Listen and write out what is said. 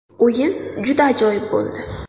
O‘yin juda ajoyib bo‘ldi.